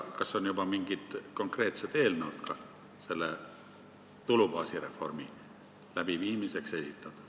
Kas on esitatud juba ka mingid konkreetsed eelnõud tulubaasireformi läbiviimiseks?